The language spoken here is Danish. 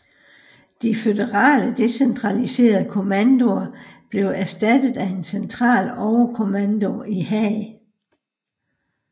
De føderale decentraliserede kommandoer blev erstattet af en central overkommando i Haag